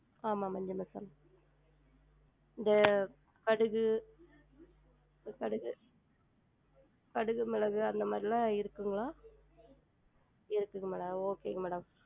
ஆமா மஞ்ச மசால் இந்த கடுகு கடுகு கடுகு மெளகு அந்த மாறிலாம் இருக்குங்குளா? இருக்குதுங்ளா okay ங்க madam